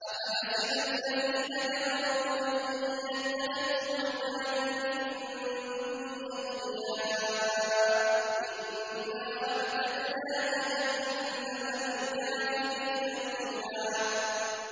أَفَحَسِبَ الَّذِينَ كَفَرُوا أَن يَتَّخِذُوا عِبَادِي مِن دُونِي أَوْلِيَاءَ ۚ إِنَّا أَعْتَدْنَا جَهَنَّمَ لِلْكَافِرِينَ نُزُلًا